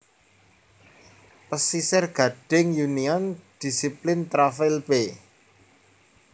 Pasisir Gading Union Discipline Travail b